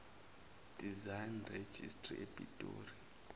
design registry epitoli